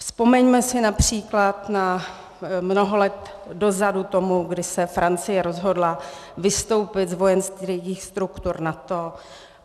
Vzpomeňme si například na mnoho let dozadu tomu, kdy se Francie rozhodla vystoupit z vojenských struktur NATO.